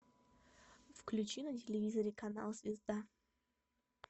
включи на телевизоре канал звезда